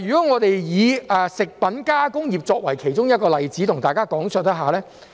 我且以食品加工業作為其中一個例子向大家講述。